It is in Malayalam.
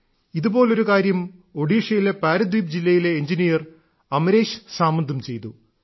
ഇതുപോലൊരു കാര്യം ഒഡീഷയിലെ പാരദ്വീപ് ജില്ലയിലെ എഞ്ചിനീയർ അമരേശ് സാമന്തും ചെയ്തു